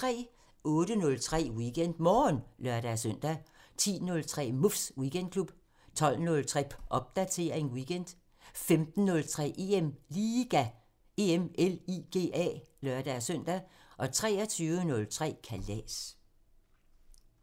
08:03: WeekendMorgen (lør-søn) 10:03: Muffs Weekendklub 12:03: Popdatering weekend 15:03: EM LIGA (lør-søn) 23:03: Kalas